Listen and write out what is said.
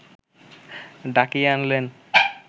ডাকিয়ে আনলেন